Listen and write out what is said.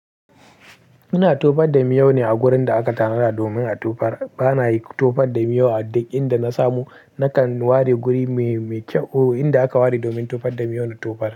Ina tofar da miyau ne a gurin da aka tanada domin a tofar. Ba na tofar da miyau a duk inda na samu. Nakan ware guri mai kyau, inda aka ware domin tofar da miyau na tofar.